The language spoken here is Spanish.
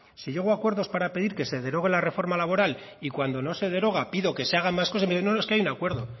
si llego acuerdos para pedir que se derogue la reforma laboral y cuando no se deroga pido que se hagan más cosas me dice no no es que hay un acuerdo